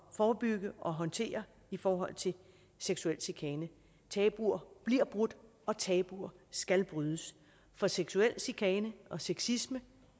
forebygge og håndtere i forhold til seksuel chikane tabuer bliver brudt og tabuer skal brydes for seksuel chikane og sexisme